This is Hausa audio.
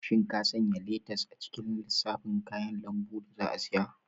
Shin ka sanya letas a cikin lissafin kayan lambu da za a siya?